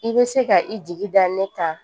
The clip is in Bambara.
I bɛ se ka i jigi da ne kan